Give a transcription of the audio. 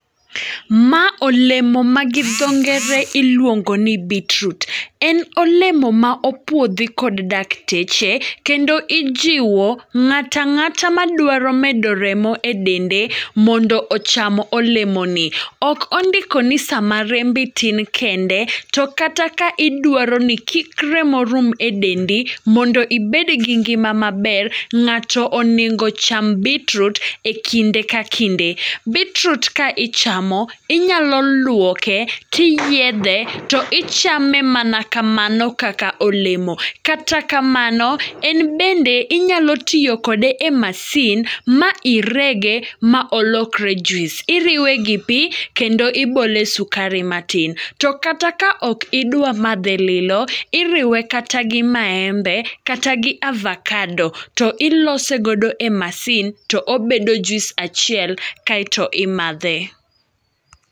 Ma olemo ma gi dho ngere iluongo ni beet root, en olemo ma opuodhi kod dakteche. Kendo ijiwo ng'ata ng'ata ma dwaro medo remo e dende mondo ocham olemo no. Ok ondiko ni sama rembi tin kende, to kata ka idwaro ni kik remo rum e dendi, mondo ibed gi ngima maber, ng'ato onego ocham beet root e kinde ka kinde. Beet root ka ichamo, inyalo lwoke, tiyiedhe, to ichame mana kamano kaka olemo. Kata kamano, en bende inyalo tiyo kode e masin ma irege ma olokre juice. Iriwe gi pi kendo ibole sukari matin. To kata ka ok idwa madhe lilo, iriwe kata gi maembe, kata gi avakado, to ilose godo e masin. To obedo juis achiel kaeto imadhe.